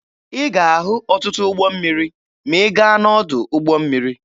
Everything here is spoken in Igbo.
Ị ga-ahụ ọtụtụ ụgbọ mmiri ma ị gaa n'ọdụ ụgbọ mmiri.